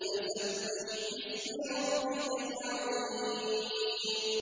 فَسَبِّحْ بِاسْمِ رَبِّكَ الْعَظِيمِ